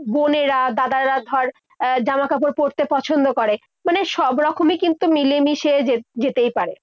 বোনেরা, দাদারা। ধর আহ জামা কাপড় পড়তে পছন্দ করে। মানে সবরকমই কিন্তু মিলেমিশে যে~যেতেই পারে।